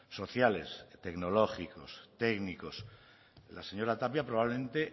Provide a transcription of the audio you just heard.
sociales tecnológicos técnicos la señora tapia probablemente